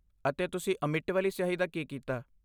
ਅਤੇ ਤੁਸੀਂ ਅਮਿੱਟ ਵਾਲੀ ਸਿਆਹੀ ਦਾ ਕੀ ਕੀਤਾ?